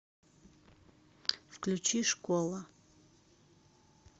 включи школа